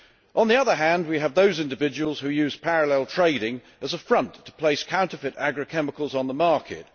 On the other hand, we have those individuals who use parallel trading as a front to place counterfeit agrichemicals on the market.